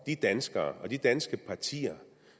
de danskere og de danske partier